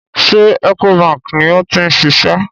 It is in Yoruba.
Ṣé Ecobank ni ó ti ń ṣiṣẹ́?